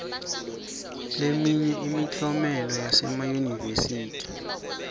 leminye yemiklomelo yasemayunivesi